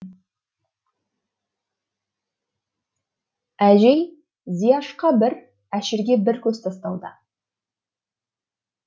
әжей зияшқа бір әшірге бір көз тастауда